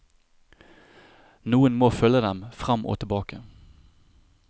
Noen må følge dem frem og tilbake.